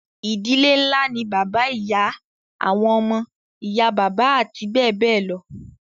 ìdílé ńlá ni bàbá, ìyá, àwọn ọmọ, ìyá bàbá àti bẹ́ẹ̀ bẹ́ẹ̀ lọ